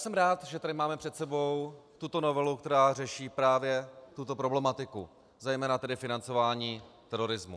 Jsem rád, že tady máme před sebou tuto novelu, která řeší právě tuto problematiku, zejména tedy financování terorismu.